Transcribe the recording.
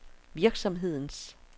virksomhedens